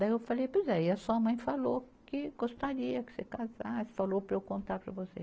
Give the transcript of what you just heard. Daí eu falei tudo, aí a sua mãe falou que gostaria que você casasse, falou para eu contar para você.